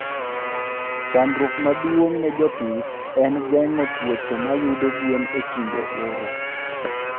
Chandruok maduong' ne jopith en geng'o tuoche mayudo gwen e kinde oro.